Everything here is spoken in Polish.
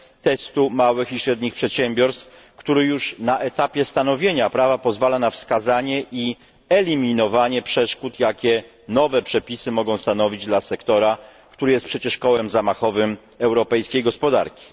testu małych i średnich przedsiębiorstw, który już na etapie stanowienia prawa pozwala na wskazanie i eliminowanie przeszkód, jakie nowe przepisy mogą stanowić dla sektora, który jest przecież kołem zamachowym europejskiej gospodarki.